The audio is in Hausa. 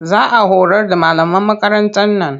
Za a horar da malaman makarantar nan